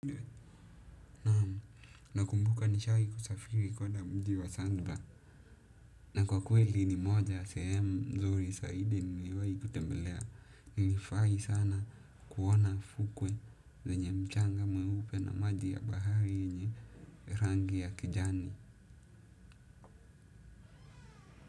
Nakumbuka nilishawahi kusafiri kwenda mji wa zanzibar. Na kwa kweli ni moja ya sehemu nzuri zaidi niliwahi kutembelea. Nilifurahi sana kuona fuko zenye mchanga mweupe na maji ya bahari yenye rangi ya kijani.